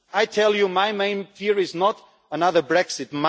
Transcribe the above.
Brussels. I tell you, my main fear is not another